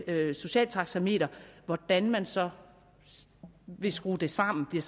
socialt taxameter hvordan man så vil skrue det sammen